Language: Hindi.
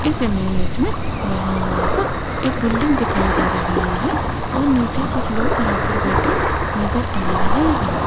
इस इमेज में यहां पर एक बिल्डिंग दिखाई दे रही है और नीचे कुछ लोग यहां पर बैठे नजर आ रहे हैं।